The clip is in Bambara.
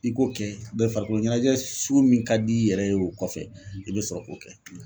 I ko kɛ mɛ farikolo ɲɛnajɛ sugu min ka di i yɛrɛ ye o kɔfɛ i bɛ sɔrɔ k'o kɛ .